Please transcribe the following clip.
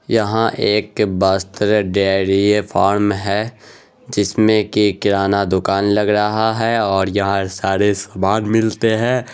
यहां एक Bastar dairy farm है जिसमे कि किराना दुकान लग रहा हैं ओर यहां सारे सामान मिलते हैं।